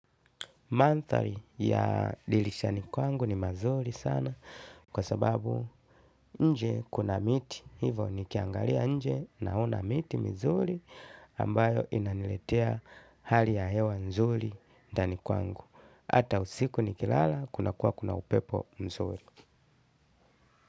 Mandhari ya dirishani kwangu ni mazuri sana kwa sababu nje kuna miti. Hivo nikiangalia nje naona miti mizuri ambayo inaniletea hali ya hewa nzuri ndani kwangu. Hata usiku nikilala kuna kuwa kuna upepo mzuri.